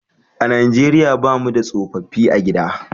A Najeriya ba mu da tsofaffi a gida